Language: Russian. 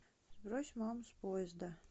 сбрось маму с поезда